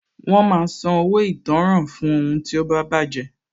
Wọn máa san owó ìtanràn fún ohun tí ó bá baje